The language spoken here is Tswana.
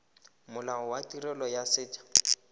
molao wa tirelo ya set